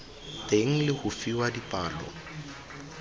teng le go fiwa dipalo